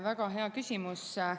Väga hea küsimus.